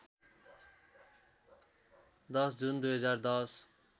१० जुन २०१०